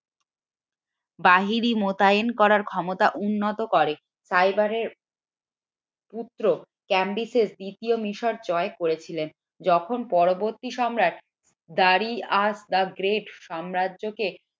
বাহিনী মোতায়েন করার ক্ষমতা উন্নত করে। ফাইবারের পুত্র দ্বিতীয় মিশর জয় করেছিল যখন পরবর্তী সম্রাট সাম্রাজ্যকে